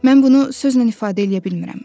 Mən bunu sözlə ifadə eləyə bilmirəm.